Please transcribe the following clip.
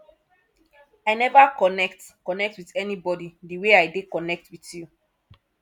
i never connect connect with anybody the way i dey connect with you